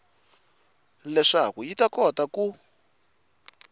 leswaku yi ta kota ku